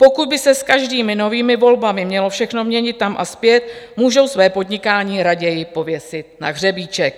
Pokud by se s každými novými volbami mělo všechno měnit tam a zpět, můžou své podnikání raději pověsit na hřebíček.